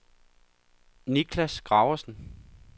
Nicklas Graversen